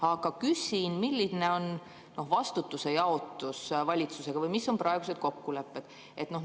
Aga kuidas jaotub vastutus valitsusega või mis on praegused kokkulepped?